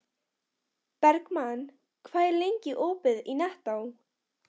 Bergmann, hvað er lengi opið í Nettó?